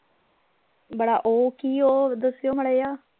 ਬੜਾ ਉਹ ਕਿ ਉਹ ਦਸਿਓ ਮਾੜਾ ਜਿਹਾ